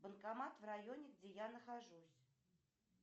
банкомат в районе где я нахожусь